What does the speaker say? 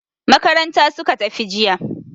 Makaranta suka tafi jiya.